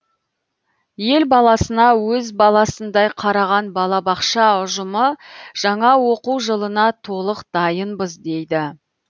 ел баласына өз баласындай қараған балабақша ұжымы жаңа оқу жылына толық дайынбыз дейді